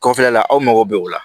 Kɔfɛla la aw mago bɛ o la